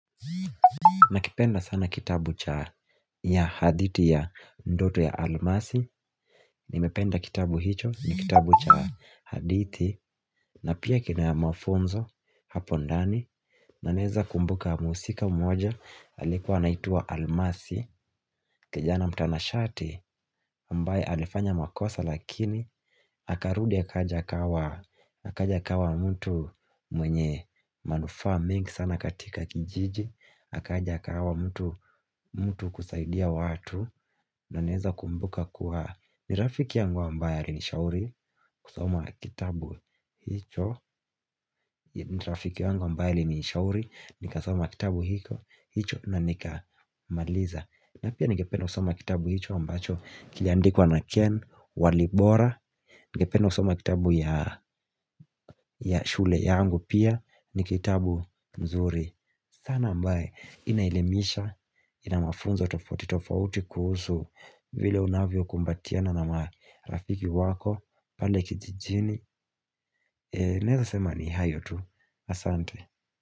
Na kipenda sana kitabu cha ya hadithi ya ndoto ya almasi Nimependa kitabu hicho ni kitabu cha hadithi na pia kina mafunzo hapo ndani na neza kumbuka mhusika mmoja alikuwa anaitwa almasi kijana mtanashati ambaye alifanya makosa lakini Akarudi akaja akawa mtu mwenye manufaa mingi sana katika kijiji akaja kawa mtu kusaidia watu na naeza kumbuka kuwa ni rafiki yangu ambaye alinishauri kusoma kitabu hicho ni rafiki yangu ambaye ali nishauri ni kasoma kitabu hicho na nikamaliza Napia ningependa kusoma kitabu hicho ambacho Kiliandikwa na Ken Walibora Ningependa kusoma kitabu ya shule yangu pia ni kitabu mzuri sana ambaye Inaelimisha ina mafunzo tofauti tofauti kuhusu vile unavyo kumbatiana na marafiki wako pale kijijini Naweza sema ni hayo tu asante.